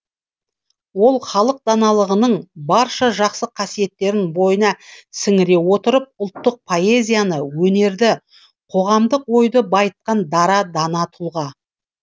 ол халық даналығының барша жақсы қасиеттерін бойына сіңіре отырып ұлттық поэзияны өнерді қоғамдық ойды байытқан дара дана тұлға